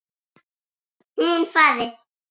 Hún farið.